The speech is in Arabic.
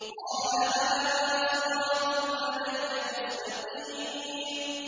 قَالَ هَٰذَا صِرَاطٌ عَلَيَّ مُسْتَقِيمٌ